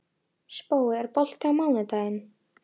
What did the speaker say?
Spói, er bolti á mánudaginn?